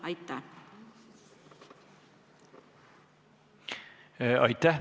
Aitäh!